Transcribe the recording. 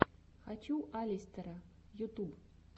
хочу алистера ютуб